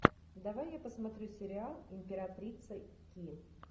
давай я посмотрю сериал императрица ки